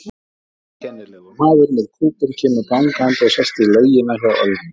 Einkennilegur maður með kúbein kemur gangandi og sest í lautina hjá Ölmu.